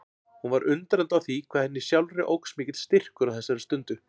Hún var undrandi á því hvað henni sjálfri óx mikill styrkur á þessari stundu.